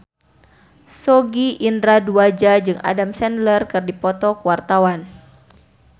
Sogi Indra Duaja jeung Adam Sandler keur dipoto ku wartawan